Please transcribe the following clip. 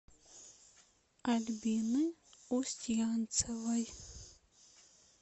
альбины устьянцевой